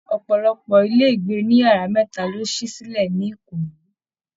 Ọpọlọpọ ilé ìgbé òní yàrá mẹta lo si silẹ ní Ìkòyí